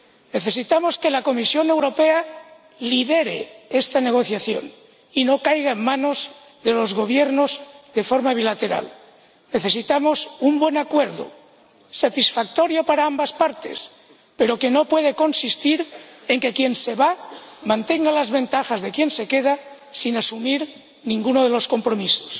Necesitamos que la Comisión Europea lidere esta negociación y no caiga en manos de los gobiernos de forma bilateral. Necesitamos un buen acuerdo, satisfactorio para ambas partes, pero que no puede consistir en que quien se va mantenga las ventajas de quien se queda sin asumir ninguno de los compromisos.